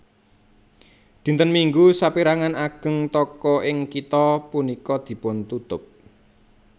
Dinten Minggu sapérangan ageng toko ing kitha punika dipuntutup